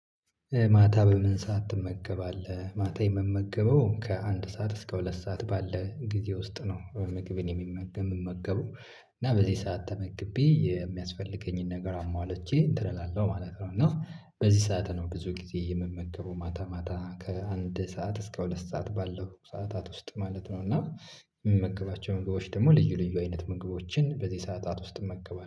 ማታ በምን ሰዓት ትመገባለህ? ማታ የምመገበው ከአንድ ሰዓት እስከ ሁለት ሰዓት ባለ ጊዜ ውስጥ ነው ምግቤን የሚመ የምመገበው እና በዚህ ሰዓት ተመግቤ የሚያስፈልገኝን ነገር አሟልቼ እንትን እላለሁ ማለት ነው። እና በዚህ ሰዓት ነው ብዙ ጊዜ የምመገበው ማታ ማታ ከአንድ ሰዓት እስከ ሁለት ሰዓት ባለው ሰዓታት ውስጥ ማለት ነው። እና የምመገባቸው ምግቦች ደግሞ ልዩ ልዩ አይነት ምግቦችን በዚህ ሰዓታት ውስጥ እመገባለሁ